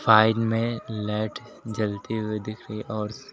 side में light जलती हुई दिख रही है और--